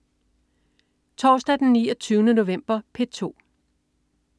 Torsdag den 29. november - P2: